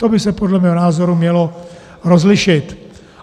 To by se podle mého názoru mělo rozlišit.